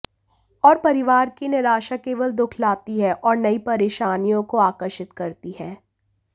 और परिवार की निराशा केवल दुःख लाती है और नई परेशानियों को आकर्षित करती है